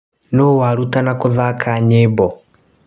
Nũ warutana kũthaka nyĩmbo.